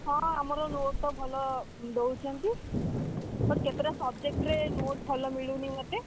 ହଁ ଆମର note ତ ଭଲ ଦଉଚନ୍ତି। but କେତେଟା subject ରେ note ଭଲ ମିଳୁନି ମତେ।